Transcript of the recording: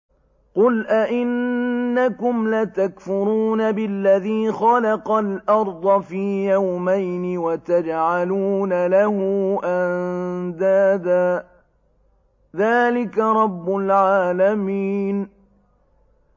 ۞ قُلْ أَئِنَّكُمْ لَتَكْفُرُونَ بِالَّذِي خَلَقَ الْأَرْضَ فِي يَوْمَيْنِ وَتَجْعَلُونَ لَهُ أَندَادًا ۚ ذَٰلِكَ رَبُّ الْعَالَمِينَ